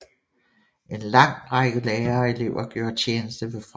En lang række lærere og elever gjorde tjeneste ved fronten